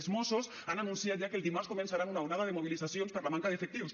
els mossos han anunciat ja que el dimarts començaran una onada de mobilitzacions per la manca d’efectius